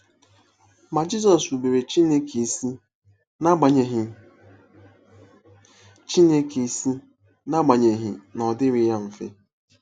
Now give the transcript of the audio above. Ma Jizọs rubere Chineke isi n’agbanyeghị Chineke isi n’agbanyeghị na ọ dịrịghị ya mfe.